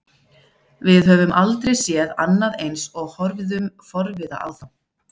Við höfðum aldrei séð annað eins og horfðum forviða á þá.